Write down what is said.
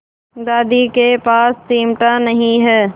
दादी के पास चिमटा नहीं है